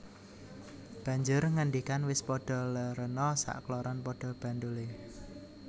Banjur ngendikan Wis padha lèrèna sak kloron padha bandholé